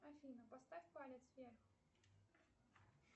афина поставь палец вверх